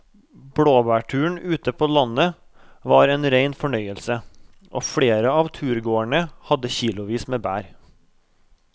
Blåbærturen ute på landet var en rein fornøyelse og flere av turgåerene hadde kilosvis med bær.